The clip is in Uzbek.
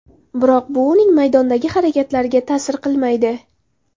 Biroq bu uning maydondagi harakatlariga ta’sir qilmaydi.